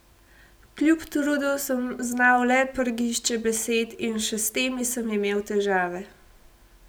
Kljub trudu sem znal le prgišče besed, in še s temi sem imel težave.